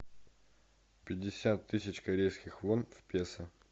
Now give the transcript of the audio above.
пятьдесят тысяч корейских вон в песо